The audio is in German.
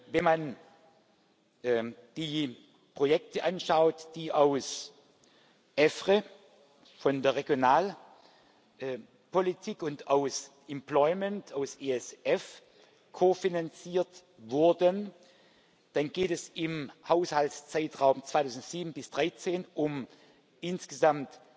Wenn man die Projekte anschaut, die aus EFRE von der Regionalpolitik und aus Employment, aus ESF ko finanziert wurden, dann geht es im Haushaltszeitraum 2007 bis 2013 um insgesamt